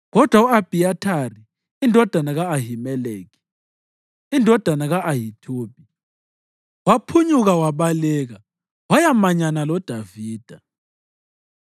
Kodwa u-Abhiyathari, indodana ka-Ahimeleki indodana ka-Ahithubi, waphunyuka wabaleka wayamanyana loDavida.